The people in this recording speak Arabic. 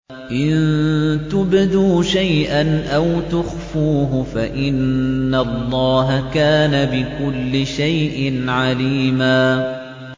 إِن تُبْدُوا شَيْئًا أَوْ تُخْفُوهُ فَإِنَّ اللَّهَ كَانَ بِكُلِّ شَيْءٍ عَلِيمًا